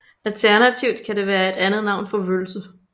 Alternativt kan det være et andet navn for vølse